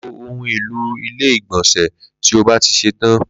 Lo ohun èlò ilé ìgbònsè tí ó bá ti ṣetán